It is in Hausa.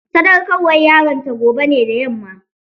Sadaukarwar yaronta gobe ne da yamma.